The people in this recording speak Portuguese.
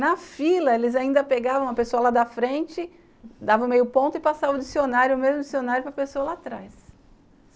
Na fila, eles ainda pegavam a pessoa lá da frente, dava meio ponto e passava o dicionário, o mesmo dicionário, para a pessoa lá atrás.